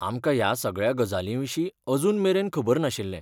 आमकां ह्या सगळ्या गजालींविशीं अजूनमेरेन खबर नाशिल्लें.